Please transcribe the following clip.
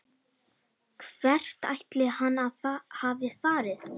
Hvert ætli hann hafi farið?